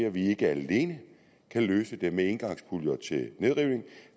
at vi ikke alene kan løse dem med engangspuljer til nedrivning